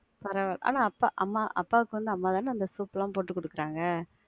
பரவாயில்ல, ஆனா அப்பா, அம்மா, அப்பாவுக்கு அம்மா தான அந்த soup லாம் போட்டு குடுத்தாங்க.